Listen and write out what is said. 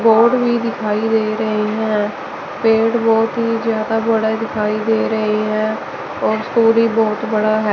Board भी दिखाई दे रहे हैं। पेड़ बहुत ही ज्यादा बड़ा दिखाई दे रही हैं और बहुत बड़ा है।